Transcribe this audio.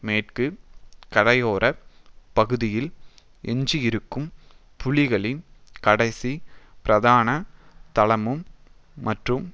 மேற்கு கரையோர பகுதியில் எஞ்சியிருக்கும் புலிகளின் கடைசி பிரதான தளமும் மற்றும்